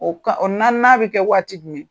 O o ka o naaninan bɛ kɛ waati jumɛn ye?